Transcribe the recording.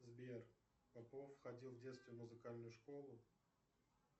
сбер попов ходил в детстве в музыкальную школу